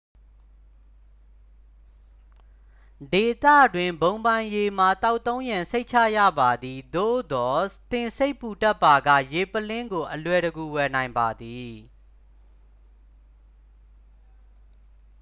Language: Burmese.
ဒေသတွင်း ဘုံပိုင်ရေမှာ သောက်သုံးရန် စိတ်ချရပါသည် သို့သော် သင်စိတ်ပူတတ်ပါက ရေပုလင်းကို အလွယ်တကူ ဝယ်နိုင်ပါသည်